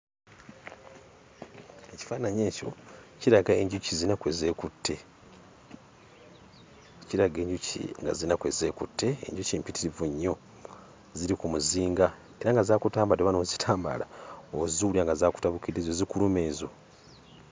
Ekifaananyi ekyo kiraga enjuki ziyina kwe zeekutte, kiraga enjuki nga ziyina kwe zeekutte, enjuki mpitirivu nnyo. Ziri ku muzinga era nga zaakutambadde oba n'ozitambaala oziwulira nga zaakutabukidde. Ezo zikuluma ezo.